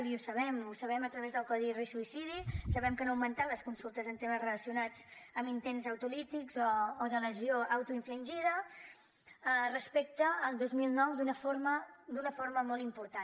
i ho sabem ho sabem a través del codi risc suïcidi sabem que han augmentat les consultes en temes relacionats amb intents autolítics o de lesió autoinfringida respecte al dos mil nou d’una forma molt important